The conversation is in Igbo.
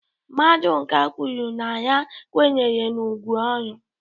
Maduka kwuru na ya kwenyere na ugwu ọrụ